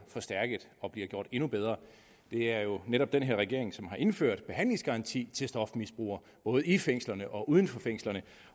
forstærket og bliver gjort endnu bedre det er jo netop den her regering som har indført behandlingsgaranti til stofmisbrugere både i fængslerne og uden for fængslerne